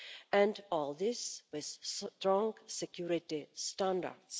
And all this with strong security standards.